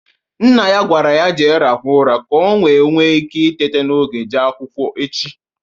Nna ya gwara ya jee rahụ ụra ka o nwee ike itete n'oge jee akwụkwọ echi